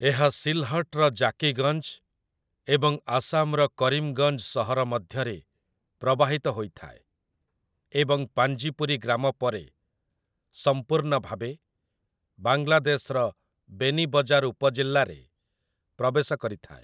ଏହା ସିଲ୍‌ହଟ୍‌ର ଜାକିଗଞ୍ଜ୍ ଏବଂ ଆସାମର କରିମ୍‌ଗଞ୍ଜ୍ ସହର ମଧ୍ୟରେ ପ୍ରବାହିତ ହୋଇଥାଏ ଏବଂ ପାଞ୍ଜିପୁରୀ ଗ୍ରାମ ପରେ ସମ୍ପୂର୍ଣ୍ଣ ଭାବେ ବାଂଲାଦେଶର ବେନିବଜାର୍ ଉପଜିଲ୍ଲାରେ ପ୍ରବେଶ କରିଥାଏ ।